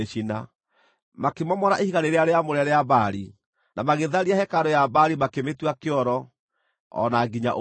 Makĩmomora ihiga rĩrĩa rĩamũre rĩa Baali, na magĩtharia hekarũ ya Baali makĩmĩtua kĩoro o na nginya ũmũthĩ.